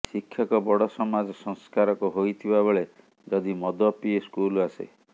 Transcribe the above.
ଶିକ୍ଷକ ବଡ଼ ସମାଜ ସଂସ୍କାରକ ହୋଇଥିବା ବେଳେ ଯଦି ମଦ ପିଇ ସ୍କୁଲ ଆସେ